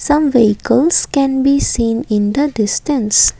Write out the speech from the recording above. some vehicles can be seen in the distance.